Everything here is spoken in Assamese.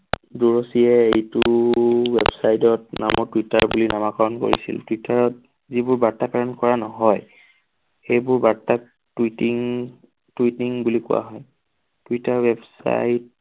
এইটো ৱেবছাইডত নামৰ টুইটাৰ বুলি নামাকৰণ কৰিছিল। টুইটাৰত যিবোৰ বাৰ্তা প্ৰেৰণ কৰা নহয় সেইবোৰ বাৰ্তাক tweeting tweeting বুলি কোৱা হয়। Twitter website